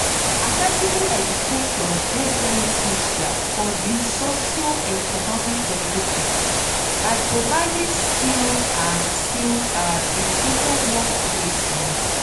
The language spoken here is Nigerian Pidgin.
accessible education dey very crucial for di socio-economic development by providing skilled and skilled and educated workplace. um